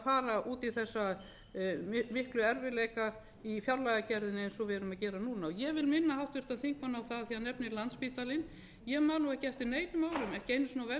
fara út í þessa miklu erfiðleika í fjárlagagerðinni eins og við erum að gera núna ég vil minna háttvirtan þingmann á það þegar hann nefndir landspítalann ég man ekki eftir neinum öðrum jafnvel